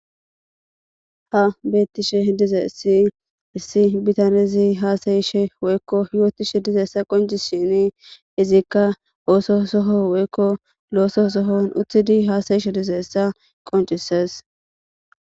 Han beetishin dizayssi issi bitanezi hasa'ushe woyko hiwotishin dizayssa qoncisishinni izikka osso Soho woyko loso sohon uttidi hasa'ishe dizayssa qonccisees.